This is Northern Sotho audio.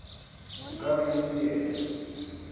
nka be e se yena